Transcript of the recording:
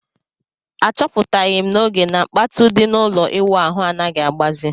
A chọpụtaghi m n'oge na kpatụ di na ụlọ ịwụ ahụ anaghị agbazi